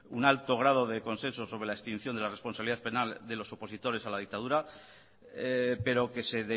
un alto grado de consenso sobre la extinción de la responsabilidad penal de los opositores a la dictadura pero que se